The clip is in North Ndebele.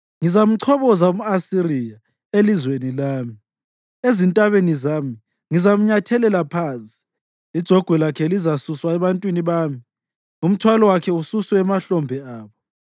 Ngizamchoboza umʼAsiriya elizweni lami; ezintabeni zami ngizamnyathelela phansi. Ijogwe lakhe lizasuswa ebantwini bami, umthwalo wakhe ususwe emahlombe abo.”